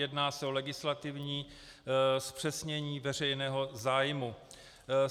Jedná se o legislativní zpřesnění veřejného zájmu.